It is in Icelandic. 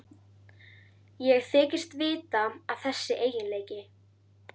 Ég þykist vita að þessi eiginleiki